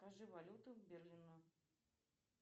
скажи валюту берлина